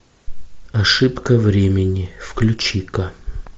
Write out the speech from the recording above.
ошибка времени включи ка